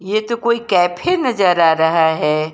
ये तो कोई कैफ़े नजर आ रहा है।